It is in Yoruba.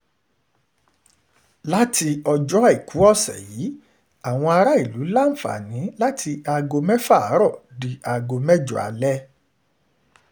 láti ọjọ́ àìkú ọ̀sẹ̀ yìí àwọn aráàlú láǹfààní láti aago mẹ́fà àárọ̀ di aago mẹ́jọ alẹ́